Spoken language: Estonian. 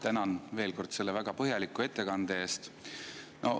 Tänan veel kord selle väga põhjaliku ettekande eest.